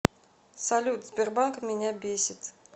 салют сбербанк меня бесит